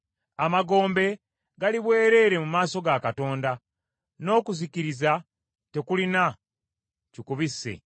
Amagombe gali bwereere mu maaso ga Katonda; n’okuzikiriza tekulina kikubisse.